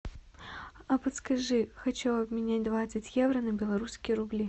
а подскажи хочу обменять двадцать евро на белорусские рубли